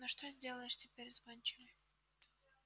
но что сделаешь теперь с гончими